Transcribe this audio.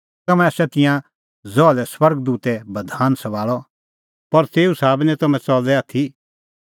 तम्हैं आसा तिंयां ज़हा लै स्वर्ग दूतै बधान सभाल़अ पर तेऊ साबै निं तम्हैं च़लै आथी